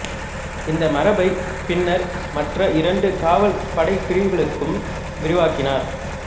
இந்த மரபைப் பின்னர் மற்ற இரண்டு காவல் படைப் பிரிவுகளுக்கும் விரிவாக்கினர்